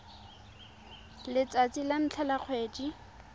letsatsi la ntlha la kgwedi